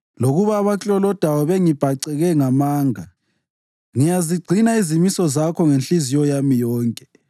Lokuba abaklolodayo bengibhaceke ngamanga, ngiyazigcina izimiso zakho ngenhliziyo yami yonke.